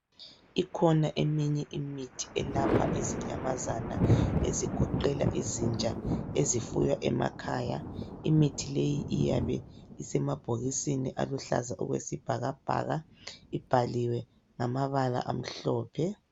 Ikhona eminye imithi elapha izinyamazana ezigoqela izinja ezifuywa emakhaya, imithi leyi iyabe isemabhokisini alihlaza okwesibhakabhaka ibhaliwe ngamabala amhlophe.